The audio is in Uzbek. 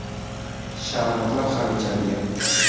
Sharbatlar ham ichadigan.